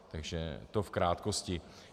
Takže to v krátkosti.